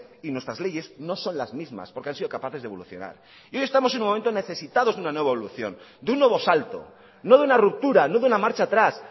y nuestras leyes no son las mismas porque han sido capaces de evolucionar y hoy estamos en un momento necesitamos de una nueva evolución de un nuevo salto no de una ruptura no de una marcha atrás